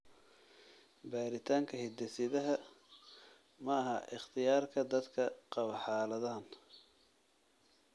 Baaritaanka hidde-sidaha maaha ikhtiyaarka dadka qaba xaaladahan.